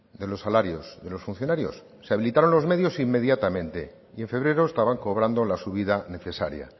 de los salarios de los funcionarios se habilitaron los medios inmediatamente y en febrero estaban cobrando la subida necesaria